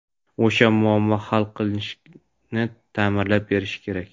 o‘sha muammo hal qilinishini ta’minlab berishi kerak.